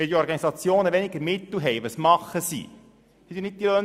Was tun die Organisationen, wenn sie über weniger Mittel verfügen?